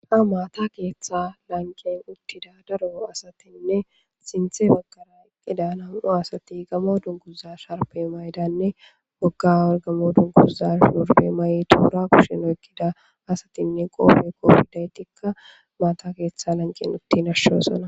Ha maata keeththa lanqen uttida daro asatinne sinthe bagara eqqida nam'u asati gamo dunguza sharpe maydanne bogga orgamo dunguza shorbe mayoy toora kusheno eqqida asatinne qoofe koopidaytikka maata keeththa lanqen utti nashshosona.